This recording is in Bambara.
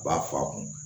U b'a fɔ a kun